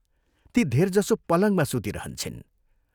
ती धेरजसो पलङमा सुतिरहन्छिन्।